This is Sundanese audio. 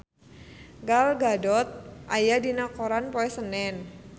Gal Gadot aya dina koran poe Senen